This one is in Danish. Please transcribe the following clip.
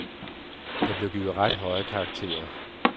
Der blev givet ret høje karakterer.